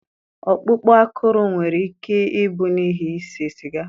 Ọkpụkpụ akụrụ nwere ike ịbụ n'ihi ise siga.